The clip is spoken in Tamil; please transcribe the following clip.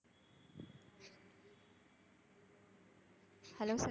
hello sir.